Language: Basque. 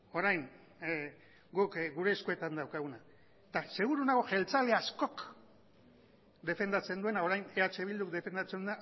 orain guk gure eskuetan daukaguna eta seguru nago jeltzale askok defendatzen duena orain eh bilduk defendatzen